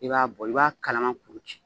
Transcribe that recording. I b'a bɔ i b'a kalaman kuru ci.